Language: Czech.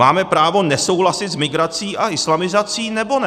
Máme právo nesouhlasit s migrací a islamizací, nebo ne?